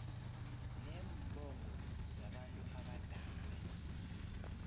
neembongo zabantu abadala